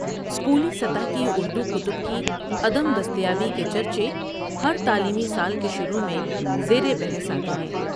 اسکولی سطح کی اردو کتب کی عدم دستیابی کے چرچے ہر تعلیمی سال کے شروع میں زیر بحث آتے ہیں۔